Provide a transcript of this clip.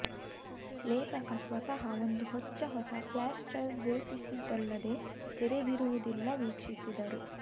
ಲೇಖಕ ಸ್ವತಃ ಒಂದು ಹೊಚ್ಚ ಹೊಸ ಫ್ಲಾಶ್ ಡ್ರೈವ್ ಗುರುತಿಸಿದ್ದಲ್ಲದೇ ತೆರೆದಿರುವುದಿಲ್ಲ ವೀಕ್ಷಿಸಿದರು